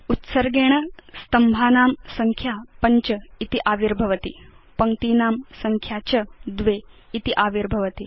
उत्सर्गेण स्तम्भानां संख्या ५ इति आविर्भवति पङ्क्तीनां संख्या च २ इति आविर्भवति